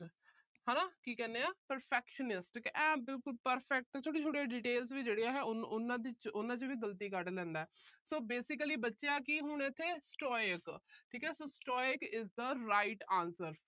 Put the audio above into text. ਹਨਾ ਕੀ ਕਹਿੰਦੇ ਆ perfectionist ਕੀ ਇਹ ਬਿਲਕੁਲ perfect ਆ। ਛੋਟੀਆਂ-ਛੋਟੀਆਂ details ਆ ਉਹਨਾਂ ਚ ਅਹ ਉਹਨਾਂ ਚ ਵੀ ਗਲਤੀਆਂ ਕੱਢ ਲੈਂਦਾ। so basically ਬਚਿਆ ਕਿ ਹੁਣ ਇਥੇ stoic